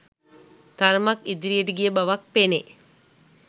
තරමක් ඉදිරියට ගිය බවක් පෙනේ.